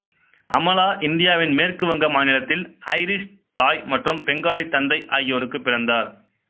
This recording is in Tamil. அமலா இந்தியாவின் மேற்கு வங்க மாநிலத்தில் ஐரிஷ் தாய் மற்றும் பெங்காலி தந்தை ஆகியோருக்கு பிறந்தார்